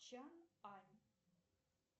чан ань